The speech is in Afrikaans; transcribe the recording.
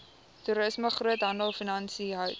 toerisme groothandelfinansies hout